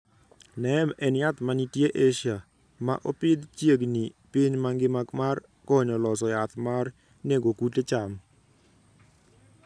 neem en yath mantie asia, maa opidh chiegni piny mangima mar konyo loso yath mar nego kute cham